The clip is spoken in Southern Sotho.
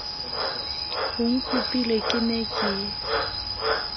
o nkopile ke ne ke